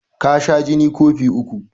Ka sha jini kofi uku